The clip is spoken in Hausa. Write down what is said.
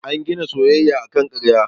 An gina soyayyan akan karya.